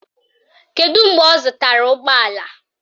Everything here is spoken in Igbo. Kedụ mgbe ọ zụtara ụgbọala?